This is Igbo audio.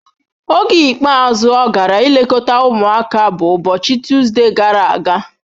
Oge ikpeazụ ọ gara ilekọta ụmụaka bụ ụbọchị Tuzdee gara aga.